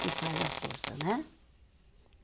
que faz a força, né?